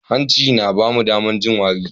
Hanci yana ba mu damar yin wari.